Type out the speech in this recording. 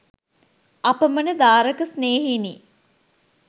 අපමණ දාරක ස්නේහයෙනි.